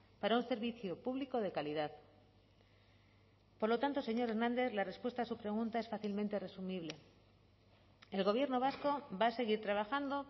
para un servicio público de calidad por lo tanto señor hernández la respuesta a su pregunta es fácilmente resumible el gobierno vasco va a seguir trabajando